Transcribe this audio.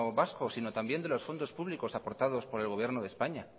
vasco sino también de los fondos públicos aportados por el gobierno de españa